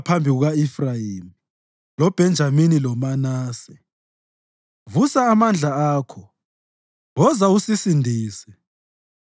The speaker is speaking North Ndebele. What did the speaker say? phambi kuka-Efrayimi loBhenjamini loManase. Vusa amandla akho; woza usisindise.